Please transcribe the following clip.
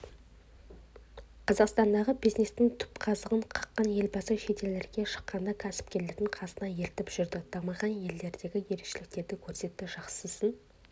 қазақстандағы бизнестің түпқазығын қаққан елбасы шетелдерге шыққанда кәсіпкерлерді қасына ертіп жүрді дамыған елдердегі ерекшеліктерді көрсетті жақсысын